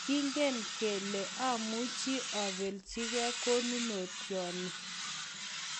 Kingen kele omuchi oplechi ge konunotyot ni